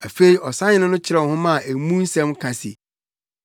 Afei, ɔsahene no kyerɛw nhoma a emu nsɛm ka se: